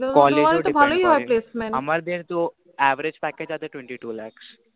তোমাদের তো ভালোই হয় placement. আমাদের তো average package twenty two lacs